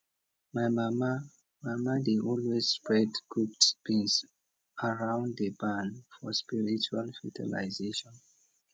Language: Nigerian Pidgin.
my mama mama dey always spread cooked beans around di barn for spiritual fertilization